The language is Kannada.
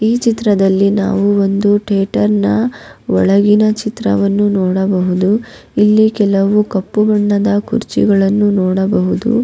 ಈ ಚಿತ್ರದಲ್ಲಿ ನಾವು ಒಂದು ತೇಟರ್ನ ಒಳಗಿನ ಚಿತ್ರವನ್ನು ನೋಡಬಹುದು ಇಲ್ಲಿ ಕೆಲವು ಕಪ್ಪು ಬಣ್ಣದ ಕುರ್ಚಿಗಳನ್ನು ನೋಡಬಹುದು.